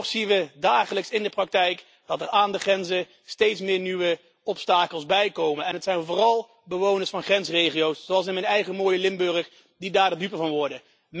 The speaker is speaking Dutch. Toch zien we dagelijks in de praktijk dat er aan de grenzen steeds meer nieuwe obstakels bijkomen en het zijn vooral bewoners van grensregio's, zoals in mijn eigen mooie Limburg, die daar de dupe van worden.